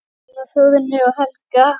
Hún á Þórunni og Helga.